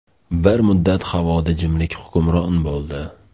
Bir muddat havoda jimlik hukmron bo‘ldi.